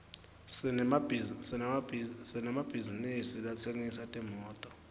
sinemabhizisi latsengisa timoto